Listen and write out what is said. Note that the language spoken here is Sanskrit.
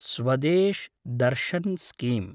स्वदेश् दर्शन् स्कीम